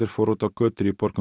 fóru út á götur í borgum